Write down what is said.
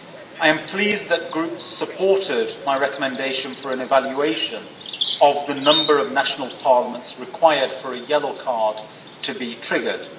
I am pleased that groups supported my recommendation for an evaluation of the number of national parliaments required for a yellow card to be triggered.